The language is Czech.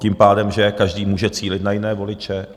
Tím pádem že každý může cílit na jiné voliče.